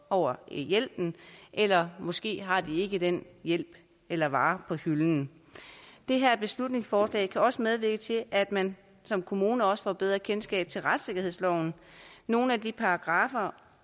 over hjælpen eller måske har de ikke den hjælp eller vare på hylden det her beslutningsforslag kan også medvirke til at man som kommune også får bedre kendskab til retssikkerhedsloven nogle af de paragraffer